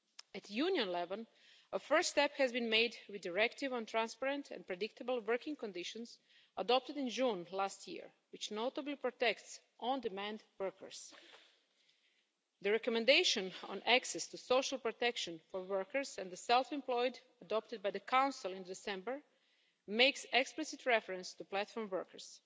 At Union level, a first step has been made with the Directive on Transparent and Predictable Working Conditions adopted in June last year, which notably protects on-demand workers. The Recommendation on access to social protection for workers and the self-employed, adopted by the Council in December, makes explicit reference to platform workers.